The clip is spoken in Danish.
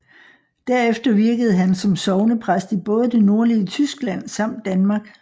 Derefter virkede han som sognepræst i både det nordlige Tyskland samt Danmark